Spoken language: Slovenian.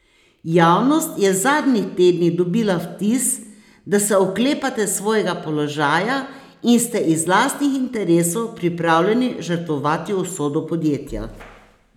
Javnost je v zadnjih tednih dobila vtis, da se oklepate svojega položaja in ste iz lastnih interesov pripravljeni žrtvovati usodo podjetja.